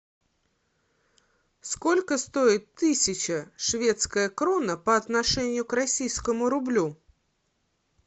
сколько стоит тысяча шведская крона по отношению к российскому рублю